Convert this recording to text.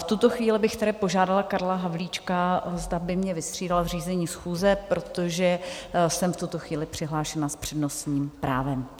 V tuto chvíli bych tedy požádala Karla Havlíčka, zda by mě vystřídal v řízení schůze, protože jsem v tuto chvíli přihlášena s přednostním právem.